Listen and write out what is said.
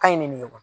Ka ɲi nin de ye wa